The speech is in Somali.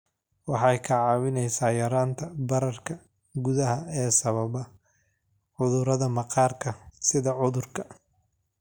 Waxay kaa caawinaysaa yaraynta bararka gudaha ee sababa cudurrada maqaarka sida cudurka